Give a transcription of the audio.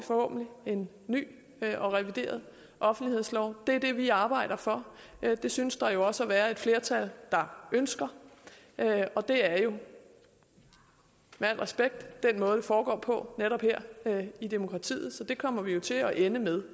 en ny og revideret offentlighedslov det er det vi arbejder for det synes der jo også at være et flertal der ønsker og det er jo med al respekt den måde det foregår på netop i demokratiet så det kommer vi jo til at ende med